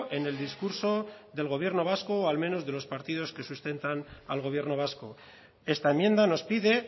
en el discurso del gobierno vasco o al menos de los partidos que sustentan al gobierno vasco esta enmienda nos pide